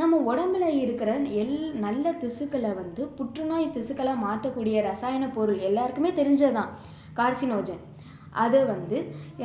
நம்ம உடம்புல இருக்கிற எல்~ நல்ல திசுக்களை வந்து புற்று நோய் திசுக்களா மாற்ற கூடிய ரசாயன பொருள் எல்லாருக்குமே தெரிஞ்சது தான் carcinogen அதை வந்து